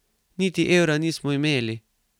Niti evra nismo imeli ...